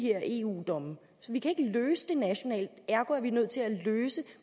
her eu domme vi kan ikke løse det nationalt ergo er vi nødt til at løse